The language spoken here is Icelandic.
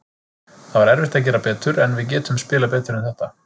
Það er erfitt að gera betur, en við getum spilað betur en þetta.